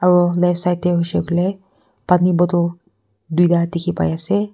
aru left side te hoise koile pani bottle duita dekhi pai ase.